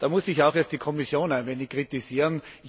Da muss ich auch erst die Kommission ein wenig kritisieren.